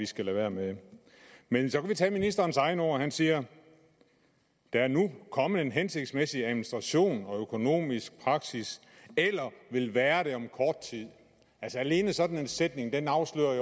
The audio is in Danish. skal lade være med men så kan vi tage ministerens egne ord han siger der er nu kommet en hensigtsmæssig administration og økonomisk praksis eller vil være det om kort tid alene sådan en sætning afslører